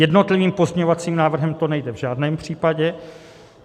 Jednotlivým pozměňovacím návrhem to nejde v žádném případě.